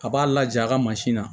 A b'a laja a ka mansin na